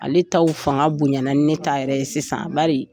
Ale t'aw fanga bonyana ni ne ta yɛrɛ ye sisan bari